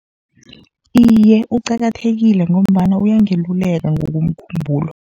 Iye, uqakathekile ngombana uyangeluleka ngokomkhumbulo.